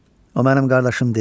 O mənim qardaşım deyil.